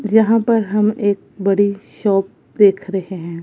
जहां पर हम एक बड़ी शॉप देख रहें हैं।